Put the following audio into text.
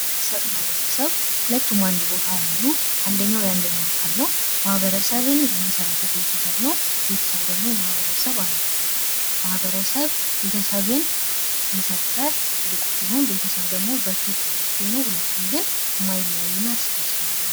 ማህበረሰብ እና ቤተሰብ ሁለቱም አንድ ቦታ ያሉ አንደኛው የአንደኛው አካል ነው። ማኀበረሰብን የመሠረተው ቤተሰብ ነው። ቤተሰብ ደግሞ የማህበረሰብ አንዱ ክፍል ነው። ማህበረሰብ ቤተሰብን የሰጠ ትልቁ ሲሆን ቤተሰብ ደግሞ በእርሱ ውስጥ የሚገኝ ነው። ሁለቱም ግን ማይለያዩ እና እርስ በርስ ያሉ ናቸው።